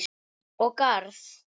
Og garð.